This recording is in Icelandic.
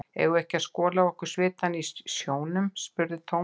Eigum við ekki að skola af okkur svitann í sjónum? spurði Thomas.